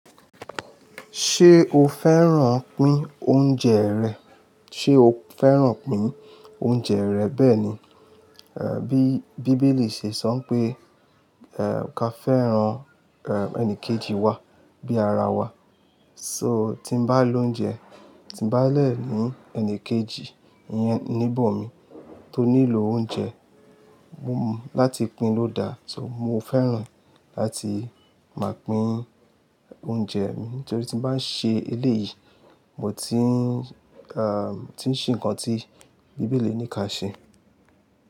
Ṣé o fẹ́ràn pín oúnjẹ rẹ̀? Ṣé o fẹ́ràn pín oúnjẹ rẹ̀? Bẹ́ẹ̀ ni, ẹ́, bí, bí Bíbélì ṣe sọ pé, ẹ́, ká fẹ́ràn, ẹ́, ẹnìkejì wa bí ara wa. So tí n bá lóúnjẹ, tí n bá lẹ̀ ní ẹnìkejì yẹn níbọ̀ mi tó nílò oúnjẹ, mo-- láti pín ló da. So mo fẹ́ràn láti máa pín oúnjẹ mi nítorí tí n bá ń ṣe eléyìí, mo ti ń, ẹ́, tí ń ṣe nǹkan tí Bíbélì ní ká ṣe.